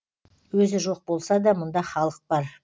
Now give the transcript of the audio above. өзі жоқ болса да мұнда халық бар